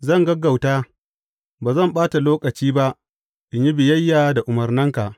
Zan gaggauta ba zan ɓata lokaci ba in yi biyayya da umarnanka.